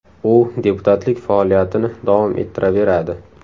U deputatlik faoliyatini davom ettiraveradi.